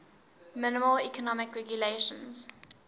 minimal economic regulations